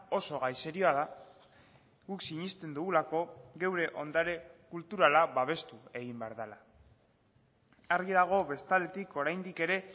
oso gai serioa da guk sinesten dugulako geure ondare kulturala babestu egin behar dela argi dago bestaldetik oraindik ere